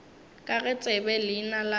ga ke tsebe leina la